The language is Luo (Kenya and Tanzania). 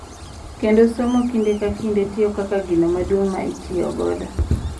Kendo somo kinde ka kinde tiyo kaka gino maduong’ ma itiyogo .